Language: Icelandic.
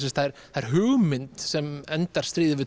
það er hugmynd sem endar stríðið við